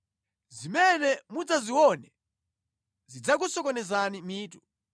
Zimene muzidzaziona zidzakusokonezani mitu.